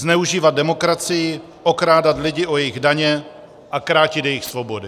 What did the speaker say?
Zneužívat demokracii, okrádat lidi o jejich daně a krátit jejich svobody.